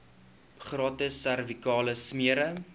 gratis servikale smere